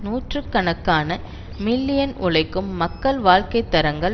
நூற்று கணக்கான மில்லியன் உழைக்கும் மக்களது வாழ்க்கை தரங்கள்